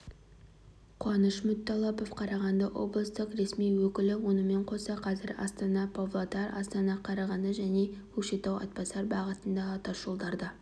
қуаныш мүтталапов қарағанды облыстық ресми өкілі онымен қоса қазір астана-павлодар астана-қарағанды және көкшетау-атбасар бағытындағы тасжолдар да